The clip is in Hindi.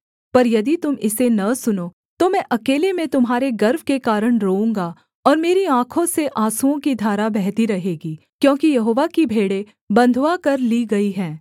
पर यदि तुम इसे न सुनो तो मैं अकेले में तुम्हारे गर्व के कारण रोऊँगा और मेरी आँखों से आँसुओं की धारा बहती रहेगी क्योंकि यहोवा की भेड़ें बँधुआ कर ली गई हैं